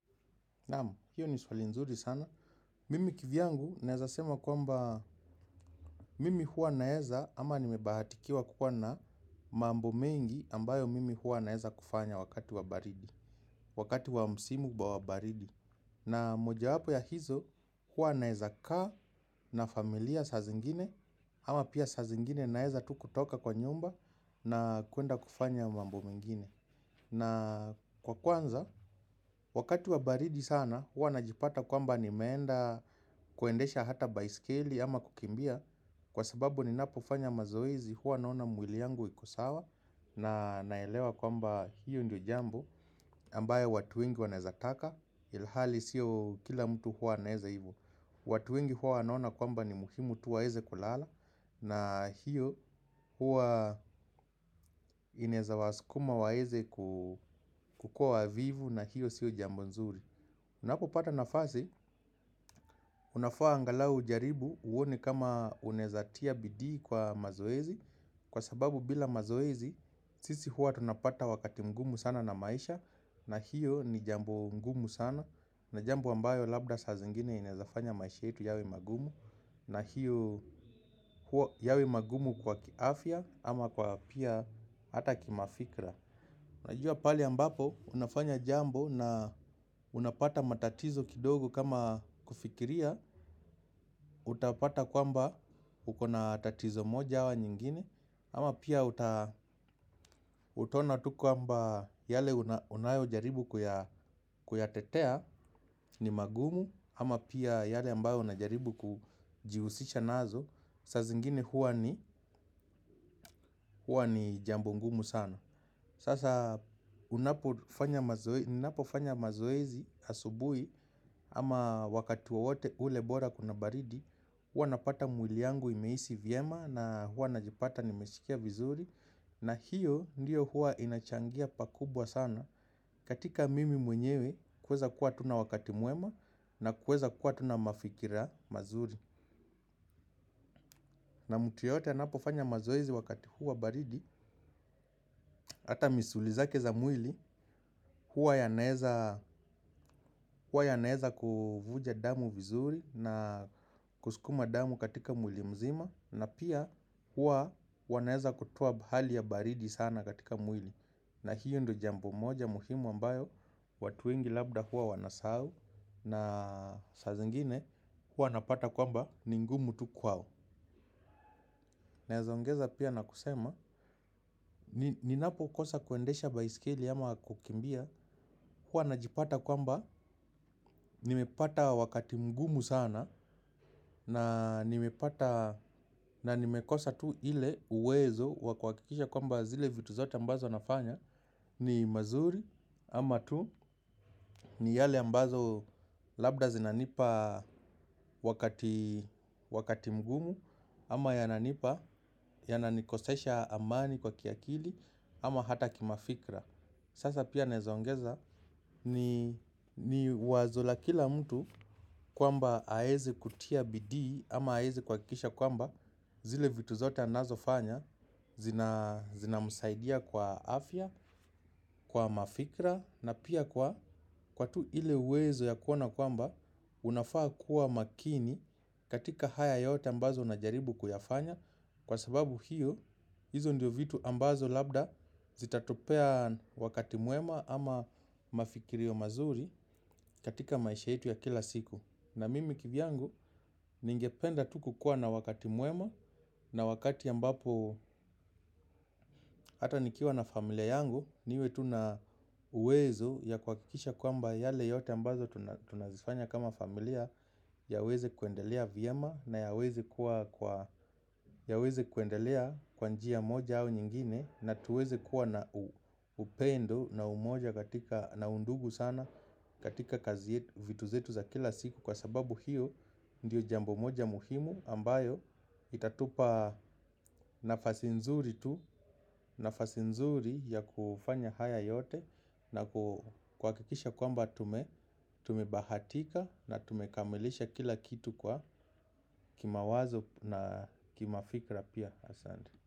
Naam, hiyo ni swali nzuri sana. Mimi kivyangu naweza sema kwamba mimi huwa naweza ama nimebahatikiwa kukuwa na mambo mengi ambayo mimi huwa naweza kufanya wakati wa baridi. Wakati wa msimu wa baridi. Na mojawapo ya hizo huwa naweza kaa na familia saa zingine ama pia saa zingine naweza tu kutoka kwa nyumba na kwenda kufanya mambo mengine. Na kwa kwanza wakati wa baridi sana huwa najipata kwamba nimeenda kuendesha hata baiskeli ama kukimbia kwa sababu ninapofanya mazoezi huwa naona mwili yangu iko sawa na naelewa kwamba hiyo ndiyo jambo ambayo watu wengi wanaweza taka ilhali siyo kila mtu huwa anaweza hivyo. Watu wengi huwa wanaona kwamba ni muhimu tu waweze kulala na hiyo huwa inaweza wasukuma waweze kukuwa wavivu na hiyo siyo jambo nzuri. Unapopata nafasi, unafaa angalau ujaribu uone kama unaweza tia bidii kwa mazoezi. Kwa sababu bila mazoezi, sisi huwa tunapata wakati mgumu sana na maisha na hiyo ni jambo ngumu sana na jambo ambayo labda saa zingine inaweza fanya maisha yetu yawe magumu na hiyo yawe magumu kwa kiafya ama kwa pia hata kimafikira. Unajua pahali ambapo unafanya jambo na unapata matatizo kidogo kama kufikiria utapata kwamba uko na tatizo moja au nyingine ama pia utaona tu kwamba yale unayojaribu kuyatetea ni magumu ama pia yale ambayo unajaribu kujihusisha nazo saa zingine huwa ni ni jambo ngumu sana. Sasa ninapofanya mazoezi asubuhi ama wakati wowote ule bora kuna baridi huwa napata mwili yangu imehisi vyema na huwa najipata nimesikia vizuri. Na hiyo ndiyo huwa inachangia pakubwa sana katika mimi mwenyewe kuweza kuwa tu na wakati mwema. Na kuweza kuwa tu na mafikira mazuri. Na mtu yeyote anapofanya mazoezi wakati huu wa baridi. Hata misuli zake za mwili huwa yanaweza kuvuja damu vizuri na kusukuma damu katika mwili mzima na pia huwa wanaweza kutoa hali ya baridi sana katika mwili. Na hiyo ndiyo jambo moja muhimu ambayo watu wengi labda huwa wanasahau na saa zingine huwa wanapata kwamba ni ngumu tu kwao. Naweza ongeza pia na kusema ninapokosa kuendesha baiskeli ama kukimbia, huwa najipata kwamba nimepata wakati mgumu sana na na nimekosa tu ile uwezo wa kuhakikisha kwamba zile vitu zote ambazo nafanya ni mazuri ama tu ni yale ambazo labda zinanipa wakati mgumu. Ama yananipa, yananikosesha amani kwa kiakili ama hata kimafikira. Sasa pia naweza ongeza ni wazo la kila mtu kwamba aweze kutia bidii ama aweze kuhakikisha kwamba zile vitu zote anazofanya zinamsaidia kwa afya, kwa mafikira na pia kwa kwa tu ile uwezo ya kuona kwamba unafaa kuwa makini katika haya yote ambazo unajaribu kuyafanya kwa sababu hiyo, hizo ndiyo vitu ambazo labda zitatupea wakati mwema ama mafikirio mazuri katika maisha yetu ya kila siku. Na mimi kivyangu, ningependa tu kukuwa na wakati mwema na wakati ambapo hata nikiwa na familia yangu. Niwe tu na uwezo ya kuhakikisha kwamba yale yote ambazo tunazifanya kama familia yaweze kuendelea vyema na yaweze kuwa kwa yaweze kuendelea kwa njia moja au nyingine na tuweze kuwa na upendo na umoja katika na undugu sana katika kazi yetu vitu zetu za kila siku kwa sababu hiyo ndiyo jambo moja muhimu ambayo itatupa nafasi nzuri tu nafasi nzuri ya kufanya haya yote na kuhakikisha kwamba tumebahatika na tumekamilisha kila kitu kwa kimawazo na kimafikira pia asante.